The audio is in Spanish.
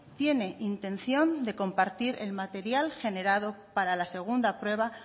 tiene intención de compartir el material generado para la segunda prueba